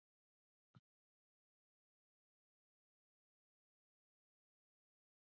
Ef þetta ástand varir lengi leiðir það til skaða á nýrum og lifur.